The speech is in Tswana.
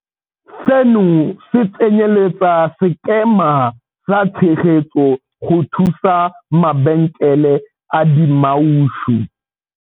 Seno se tsenyeletsa sekema sa tshegetso go thusa mabenkele a dimaushu.